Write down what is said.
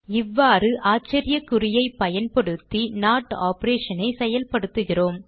இவ்வாறு ஆச்சரியக்குறியைப் பயன்படுத்தி நோட் operation ஐ செயல்படுத்துகிறோம்